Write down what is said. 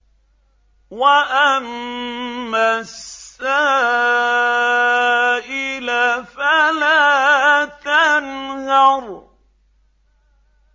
وَأَمَّا السَّائِلَ فَلَا تَنْهَرْ